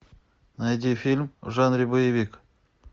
найди фильм в жанре боевик